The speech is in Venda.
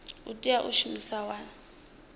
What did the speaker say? tea u ita mushumo wa